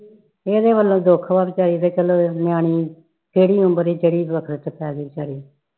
ਇਹਦੇ ਵਲੋ ਦੁੱਖ ਆ ਵਿਚਾਰੀ ਤੇ ਚਲੋ ਨਿਆਣੀ ਕਿਹੜੀ ਉਮਰ ਕਿਹੜੇ ਵਖਤ ਵਿਚ ਪੈ ਗਈ ਵਿਚਾਰੀ